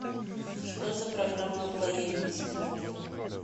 что за программа лояльности в отеле